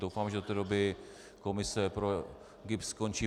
Doufám, že do té doby komise pro GIBS skončí.